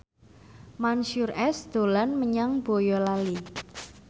Mansyur S dolan menyang Boyolali